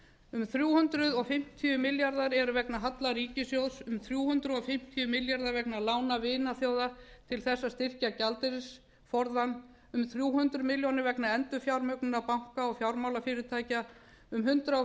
um þrjú hundruð fimmtíu milljarðar eru vegna halla ríkissjóðs um þrjú hundruð fimmtíu milljarðar vegna lána vinaþjóða til þess að styrkja gjaldeyrisforðann um þrjú hundruð milljarðar vegna endurfjármögnunar banka og fjármálafyrirtækja um hundrað